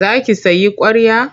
Za ki sayi ƙwarya?